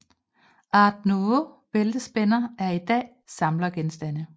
Art Nouveau bæltespænder er i dag samlergenstande